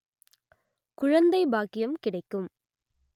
குழந்தை பாக்யம் கிடைக்கும்